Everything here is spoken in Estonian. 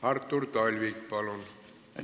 Artur Talvik, palun!